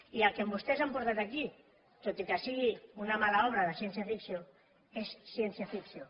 i el que vostès han portat aquí tot i que sigui una mala obra de ciència ficció és ciència ficció